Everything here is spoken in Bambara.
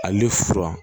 Ale fura